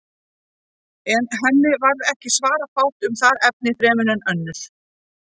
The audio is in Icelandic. En henni varð ekki svara fátt um það efni fremur en önnur.